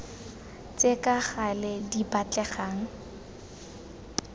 tse ka gale di batlegang